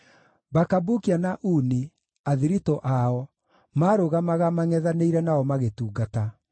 Bakabukia na Uni, athiritũ ao, maarũgamaga mangʼethanĩire nao magĩtungata.